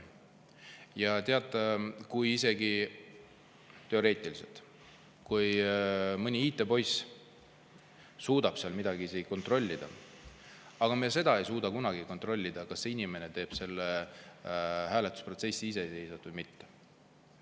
Ja teate, kui teoreetiliselt mõni IT-poiss isegi suudab seal midagi kontrollida, siis seda me ei suuda kunagi kontrollida, kas inimene hääletab iseseisvalt või mitte.